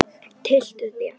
Tylltu þér.